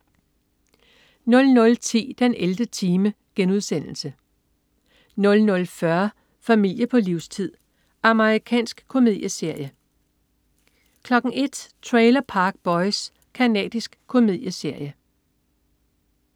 00.10 den 11. time* 00.40 Familie på livstid. Amerikansk komedieserie 01.00 Trailer Park Boys. Canadisk komedieserie